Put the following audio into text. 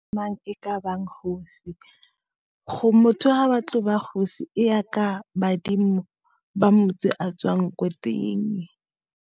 Mang e ka ba kgosi, gore motho ha batla go ba kgosi, e ya ka badimo ba motse a tswang ko teng.